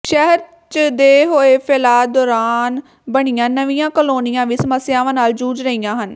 ਸ਼ਹਿਰ ਦੇ ਹੋਏ ਫੈਲਾਅ ਦੌਰਾਨ ਬਣੀਆਂ ਨਵੀਆਂ ਕਲੋਨੀਆਂ ਵੀ ਸਮੱਸਿਆਵਾਂ ਨਾਲ ਜੂਝ ਰਹੀਆਂ ਹਨ